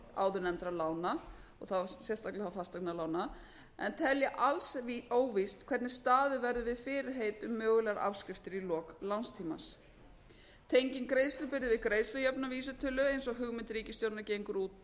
áðurnefndra lána þá sérstaklega fasteignalána en telja alls óvíst hvernig staðið verður við fyrirheit um mögulegar afskriftir í lok lánstíma tenging greiðslubyrði viðgreiðslujöfnunarvísitölu eins og hugmynd ríkisstjórnarinnar gengur út